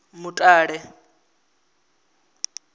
mutale